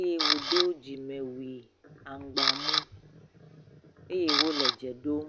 eye wòdo dzimewui aŋgba mu eye wòle dze ɖom.